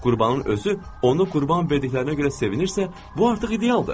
Qurbanın özü onu qurban verdiklərinə görə sevinirsə, bu artıq idealdır.